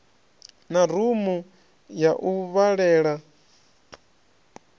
na rumu ya u vhalela